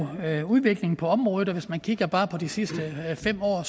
er udvikling på området og hvis man kigger på bare de sidste fem år